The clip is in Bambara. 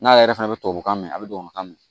N'ale yɛrɛ fɛnɛ bɛ tubabukan mɛn a bɛ tubabukan mɛn